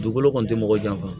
Dugukolo kɔni ti mɔgɔ janfa